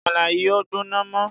Àmàlà yìí ò gbóná mọ́.